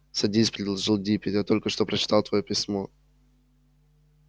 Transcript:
садись предложил диппет я только что прочитал твоё письмо